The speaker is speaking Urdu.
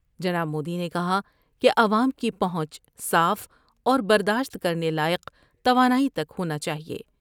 جناب مودی نے کہا کہ عوام کی پہونچ صاف اور برداشت کر نے لائق توانائی تک ہونا چاہئے ۔